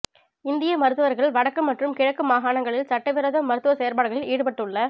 இந்திய மருத்துவர்கள் வடக்கு மற்றும் கிழக்கு மாகாணங்களில் சட்டவிரோத மருத்துவ செயற்பாடுகளில் ஈடுபட்டுள